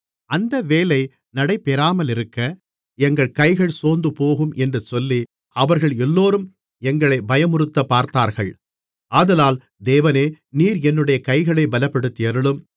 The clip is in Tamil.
அந்த வேலை நடைபெறாமலிருக்க எங்கள் கைகள் சோர்ந்துபோகும் என்று சொல்லி அவர்கள் எல்லோரும் எங்களைப் பயமுறுத்தப்பார்த்தார்கள் ஆதலால் தேவனே நீர் என்னுடைய கைகளைத் பலப்படுத்தியருளும்